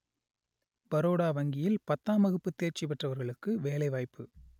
பரோடா வங்கியில் பத்தாம் வகுப்பு தேர்ச்சி பெற்றவர்களுக்கு வேலை வாய்ப்பு